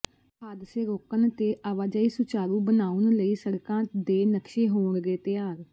ਹਾਦਸੇ ਰੋਕਣ ਤੇ ਆਵਾਜਾਈ ਸੁਚਾਰੂ ਬਣਾਉਣ ਲਈ ਸੜਕਾਂ ਦੇ ਨਕਸ਼ੇ ਹੋਣਗੇ ਤਿਆਰ